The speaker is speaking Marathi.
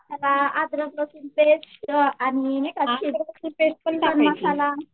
अदरक लसूण पेस्ट आणि नाही का खडा मसाला